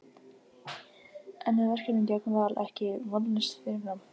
En er verkefnið gegn Val ekki vonlaust fyrirfram?